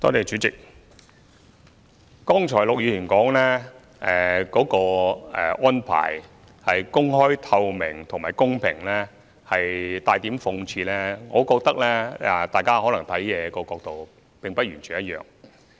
主席，陸議員剛才提到銷售安排的透明度及公平性帶點諷刺，我認為大家看事物的角度並不完全一樣。